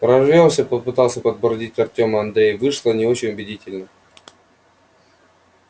прорвёмся попытался подбодрить артёма андрей вышло не очень убедительно